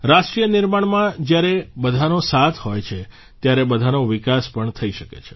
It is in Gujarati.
રાષ્ટ્રનિર્માણમાં જ્યારે બધાનો સાથ હોય છે ત્યારે બધાનો વિકાસ પણ થઇ શકે છે